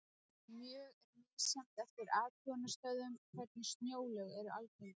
Mjög er misjafnt eftir athugunarstöðvum hvernig snjóalög eru algengust.